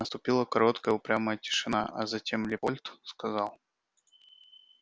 наступила короткая упрямая тишина а затем лепольд сказал